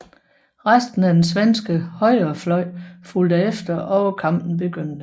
Resten af den svenske højrefløj fulgte efter og kampen begyndte